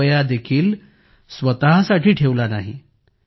एक रुपयादेखील स्वतःसाठी ठेवला नाही